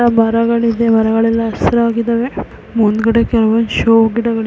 ಮರಗಳಿವೆ ಮರಗಳೆಲ್ಲ ಹಸಿರಾಗಿದ್ದಾವೆ ಮುಂದ್ಗಡೆ ಫ್ಲವರ್ಸ್ ಶೋ ಗಿಡಗಳ --